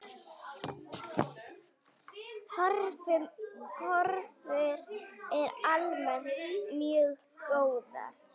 Horfur eru almennt mjög góðar.